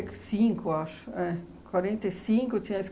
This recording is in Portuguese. cinco, acho. É. Quarenta e cinco tinha a